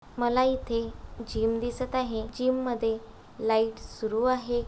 मला इथे जिम दिसत आहे जिम मध्ये लाइट सुरू आहे.